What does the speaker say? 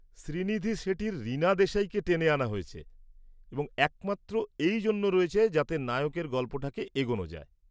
শ্রীনিধি শেঠির রীনা দেশাইকে টেনে আনা হয়েছে এবং একমাত্র এই জন্য রয়েছে যাতে নায়কের গল্পটাকে এগোন যায়।